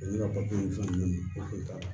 Ne ka papiye ninnu fɛn ninnu o kun t'a la